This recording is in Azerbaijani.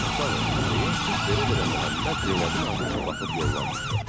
Sağ ol, deyə fit verə-verə Məhəmməd Zeynəbin ardınca baxıb yollanmışdı.